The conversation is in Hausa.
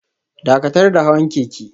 Dakatar da hawan keke